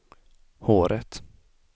håret